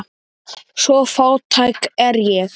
Svo fátæk er ég.